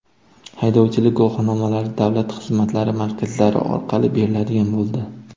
Haydovchilik guvohnomalari davlat xizmatlari markazlari orqali beriladigan bo‘ldi.